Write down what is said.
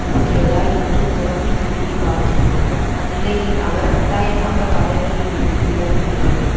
இருக்கிறதா என்று தோண்டி துருவிப் பார்க்கிறது அந்நிலையில் அவர் கட்டாயமாக பதவியில் இருந்து விலக நேரிடும்